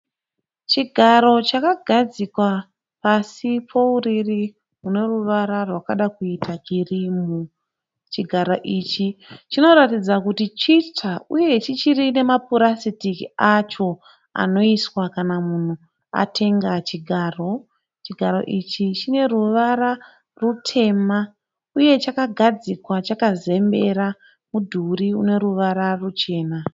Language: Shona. Chigaro chakagazikwa pasi pouriri hune ruvara rwakada kuita kirimu Chigaro ichi chinoratidza kuti chitsva uye chichirine mapurasitiki acho anoiswa kana munhu atenga chigaro. Chigaro ichi chine ruvara rutema uye chakagadzikwa chakazembera mudhuri une ruvara ruchena.